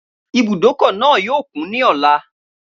Ibùdókọ̀ náà yóò kún ní ọ̀la